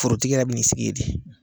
Forotigi yɛrɛ bi n'i sigi ye de